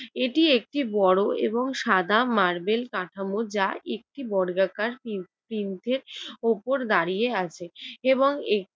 এটি একটি বড় এবং সাদা মার্বেল কাঠামো যা একটি বর্গাকার কিউ তিনটের উপর দাড়িয়ে আছে এবং